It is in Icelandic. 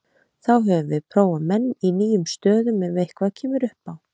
Þá höfum við prófað menn í nýjum stöðum ef eitthvað kemur upp á.